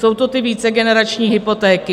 Jsou to ty vícegenerační hypotéky.